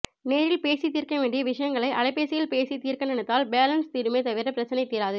நேரில் பேசி தீர்க்க வேண்டிய விஷயங்களை அலைபேசியில் பேசி தீர்க்க நினைத்தால் பேலன்ஸ் தீருமே தவிர ப்ரச்சனை தீராது